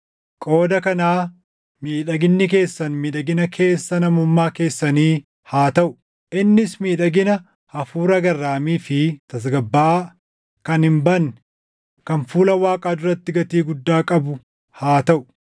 qooda kanaa miidhaginni keessan miidhagina keessa namummaa keessanii haa taʼu; innis miidhagina hafuura garraamii fi tasgabbaaʼaa, kan hin badne, kan fuula Waaqaa duratti gatii guddaa qabu haa taʼu.